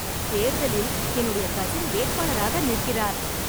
தேர்தலில் என்னுடைய கசின் வேட்பாளராக நிற்கிறார்.